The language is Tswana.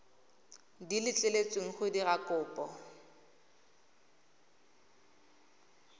di letleletsweng go dira kopo